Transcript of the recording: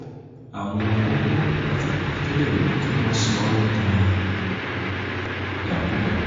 àwọn kókó pàtàkì tó lè mú kí wọ́n sọ ọ́ dìdàkudà ni: